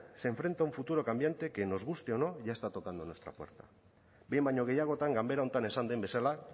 se enfrenta a un futuro cambiante que nos guste o no ya está tocando a nuestra puerta behin baino gehiagotan ganbera honetan esan den bezala